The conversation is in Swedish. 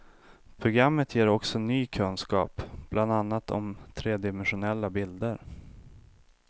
Programmet ger också ny kunskap, bland annat om tredimensionella bilder.